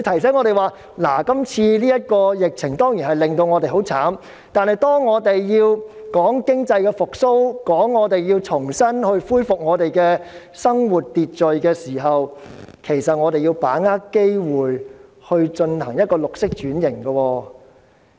這次的疫情當然令我們很慘，但當我們要談經濟復蘇、重新恢復生活秩序時，我們要把握機會進行綠色轉型。